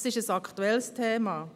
Es ist ein aktuelles Thema.